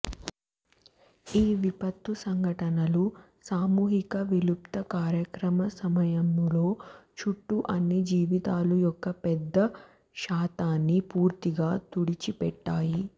ఈ విపత్తు సంఘటనలు సామూహిక విలుప్త కార్యక్రమ సమయములో చుట్టూ అన్ని జీవితాల యొక్క పెద్ద శాతాన్ని పూర్తిగా తుడిచిపెట్టాయి